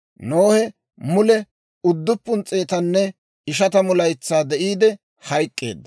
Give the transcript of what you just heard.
Nohe mule 950 laytsaa de'iide hayk'k'eedda.